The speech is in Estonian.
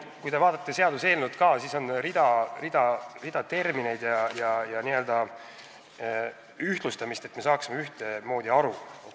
Kui te vaatate seaduseelnõu, siis näete, et selles on rida termineid ja n-ö ühtlustamist, et me saaksime mõistetest ühtemoodi aru.